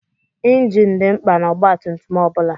Ịnjin dị mkpa n'ọgbatumtum ọ bụla.